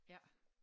Ja